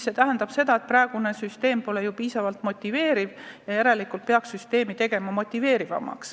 See tähendab seda, et praegune süsteem pole selleks piisavalt motiveeriv olnud ja järelikult peaks seda muutma.